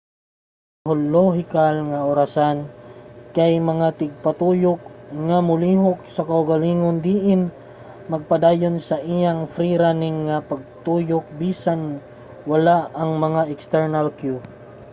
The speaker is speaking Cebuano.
ang mga biolohikal nga orasan kay mga tigpatuyok nga molihok sa kaugalingon diin magpadayon sa iyang free-running nga pagtuyok bisan wala ang mga external cue